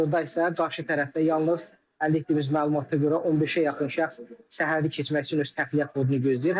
Hazırda isə qarşı tərəfdə yalnız əldə etdiyimiz məlumata görə 15-ə yaxın şəxs sərhədi keçmək üçün öz təxliyə kodunu gözləyir.